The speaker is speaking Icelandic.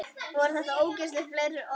Voru þá ósögð fleiri orð.